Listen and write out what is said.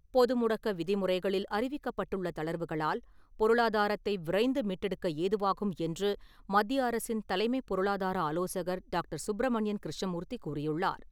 பொதுமுடக்க விதிமுறைகளில் அறிவிக்கப்பட்டுள்ள தளர்வுகளால், பொருளாதாரத்தை விரைந்து மீட்டெடுக்க ஏதுவாகும் என்று மத்திய அரசின் தலைமை பொருளாதார ஆலோசகர் டாக்டர் சுப்ரமணியன் கிருஷ்ணமூர்த்தி கூறியுள்ளார்.